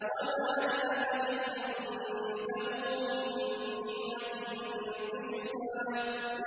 وَمَا لِأَحَدٍ عِندَهُ مِن نِّعْمَةٍ تُجْزَىٰ